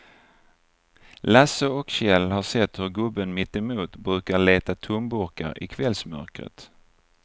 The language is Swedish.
Lasse och Kjell har sett hur gubben mittemot brukar leta tomburkar i kvällsmörkret.